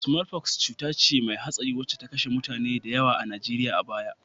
Sumolfoks cuta ce mai hatsari wacce ta kashe mutane da yawa a Najeriya a baya